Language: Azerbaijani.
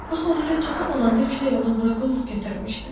Axı o hələ toxum olanda külək onu bura qovub gətirmişdi.